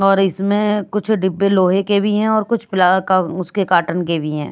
और इसमें कुछ डिब्बे लोहे के भी हैं और कुछ उसके कार्टून के भी हैं।